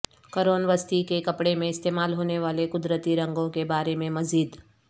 قرون وسطی کے کپڑے میں استعمال ہونے والے قدرتی رنگوں کے بارے میں مزید